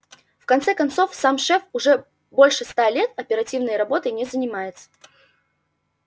в конце концов сам шеф уже больше ста лет оперативной работой не занимается